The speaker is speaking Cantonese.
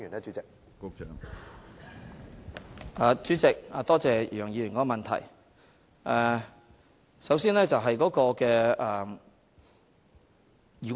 主席，多謝楊議員的補充質詢。